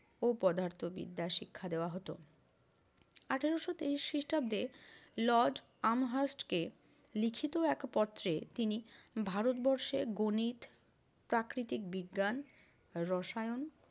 ও পদার্থবিদ্যা শিক্ষা দেওয়া হতো। আঠারশো তেইশ খ্রিষ্টাব্দে লর্ড আম হাস্টকে লিখিত এক পত্রে তিনি ভারতবর্ষে গণিত, প্রাকৃতিক বিজ্ঞান, রসায়ন,